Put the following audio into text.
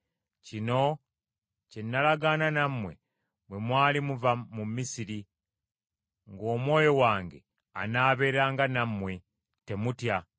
‘Kino kye nalagaana nammwe bwe mwali muva mu Misiri, ng’Omwoyo wange anaabeeranga nammwe. Temutya.’